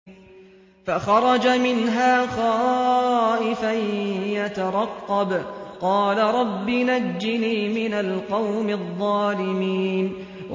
فَخَرَجَ مِنْهَا خَائِفًا يَتَرَقَّبُ ۖ قَالَ رَبِّ نَجِّنِي مِنَ الْقَوْمِ الظَّالِمِينَ